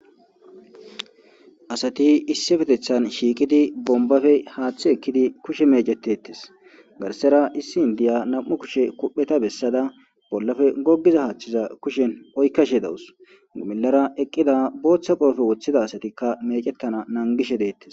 Asati issippetethani shiqidayisa bomibbappe haaththe ekidi kushe meccetetesi garisara indiya namu kushe kuphpheta besada bolappe gogiza haathteza kushen oyikadhe dawusi milera eqida botha qoppe wothida asatikka meccetana nanigishe deetesi